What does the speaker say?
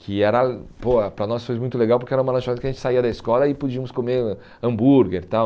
Que era pô para nós foi muito legal, porque era uma lanchonete que a gente saía da escola e podíamos comer hambúrguer tal.